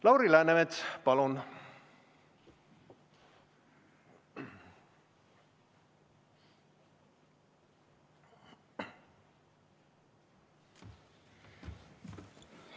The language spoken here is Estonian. Lauri Läänemets, palun!